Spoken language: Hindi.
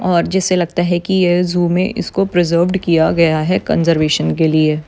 और जैसे लगता है कि ये ज़ू मे इसको प्रिजर्वेड किया गया है कंजरवेशन के लिए।